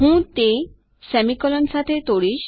હું તે સેમીકોલન સાથે તોડીશ